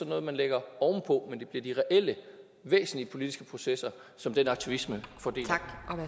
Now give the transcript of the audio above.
noget man lægger oven på men det bliver de reelle væsentlige politiske processer som den aktivisme